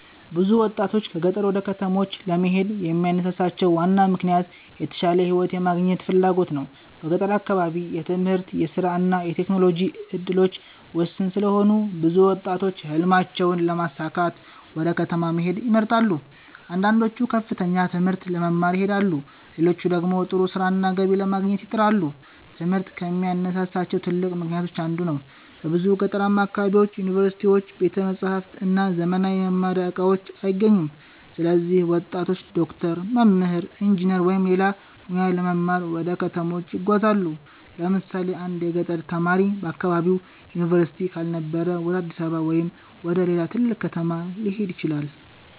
ብዙ ወጣቶች ከገጠር ወደ ከተሞች ለመሄድ የሚያነሳሳቸው ዋና ምክንያት የተሻለ ሕይወት የማግኘት ፍላጎት ነው። በገጠር አካባቢ የትምህርት፣ የሥራ እና የቴክኖሎጂ እድሎች ውስን ስለሆኑ ብዙ ወጣቶች ሕልማቸውን ለማሳካት ወደ ከተማ መሄድን ይመርጣሉ። አንዳንዶቹ ከፍተኛ ትምህርት ለመማር ይሄዳሉ፣ ሌሎች ደግሞ ጥሩ ሥራና ገቢ ለማግኘት ይጥራሉ። ትምህርት ከሚያነሳሳቸው ትልቅ ምክንያቶች አንዱ ነው። በብዙ ገጠራማ አካባቢዎች ዩኒቨርሲቲዎች፣ ቤተ መጻሕፍት እና ዘመናዊ የመማሪያ እቃዎች አይገኙም። ስለዚህ ወጣቶች ዶክተር፣ መምህር፣ ኢንጂነር ወይም ሌላ ሙያ ለመማር ወደ ከተሞች ይጓዛሉ። ለምሳሌ አንድ የገጠር ተማሪ በአካባቢው ዩኒቨርሲቲ ካልነበረ ወደ አዲስ አበባ ወይም ወደ ሌላ ትልቅ ከተማ ሊሄድ ይችላል።